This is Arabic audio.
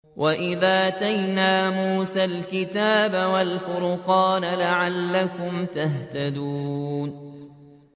وَإِذْ آتَيْنَا مُوسَى الْكِتَابَ وَالْفُرْقَانَ لَعَلَّكُمْ تَهْتَدُونَ